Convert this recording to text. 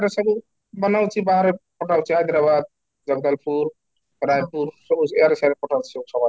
ର ସବୁ ବନାଉଛି ବାହାରେ ପଠାଉଛି Hyderabad ଜବଲପୁର ରାଇପୁର ସବି ଏଆଡ଼େ ସେଆଡେ ପଠାଉଛି